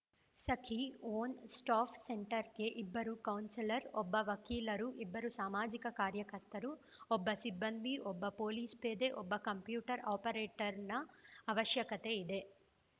Sakhi one stop ಸೆಂಟರ್‌ಗೆ ಇಬ್ಬರು counsellor ಒಬ್ಬ ವಕೀಲರು ಎರಡು ಸಾಮಾಜಿಕ ಕಾರ್ಯಕರ್ತರು ಒಬ್ಬ ಸಿಬ್ಬಂದಿ ಒಬ್ಬ ಪೊಲೀಸ್‌ ಪೇದೆ ಒಬ್ಬ ಕಂಪ್ಯೂಟರ್‌ ಆಪರೇಟರ್‌ನ ಅವಶ್ಯಕತೆ ಇದೆ